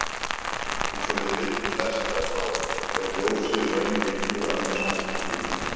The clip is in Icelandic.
Eins og við vitum flest að þá er ljósið í raun bylgjur af mismunandi tíðni.